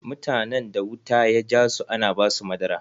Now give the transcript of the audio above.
Mutanen da wuta ya jasu ana ba su madara.